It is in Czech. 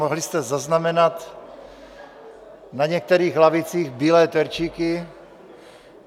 Mohli jste zaznamenat na některých lavicích bílé terčíky.